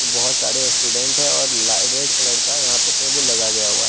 बहोत सारे स्टूडेंट है और ला रेड कलर का यहां पे टेबुल लगा गया हुआ--